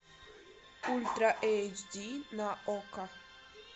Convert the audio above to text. ультра эйч ди на окко